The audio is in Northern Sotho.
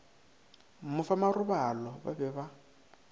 mo fa marobalo ba be